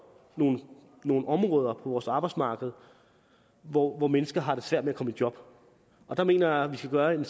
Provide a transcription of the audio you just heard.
nogle nogle områder på vores arbejdsmarked hvor hvor mennesker har svært ved at komme i job jeg mener at vi skal gøre en